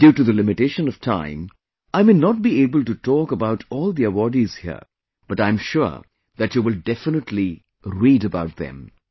Due to the limitation of time, I may not be able to talk about all the awardees here, but I am sure that you will definitely read about them